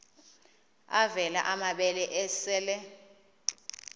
avela amabele esel